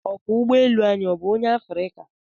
Okwọọ ụgbọ elu anyị ọ bụ onye Afrịka?